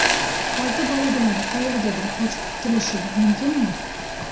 Olti bola bilan qayergadir qochib qutulishi mumkinmi?